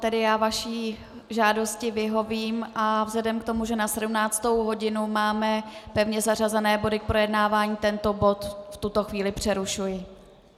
Tedy já vaší žádosti vyhovím a vzhledem k tomu, že na 17. hodinu máme pevně zařazené body k projednávání, tento bod v tuto chvíli přerušuji.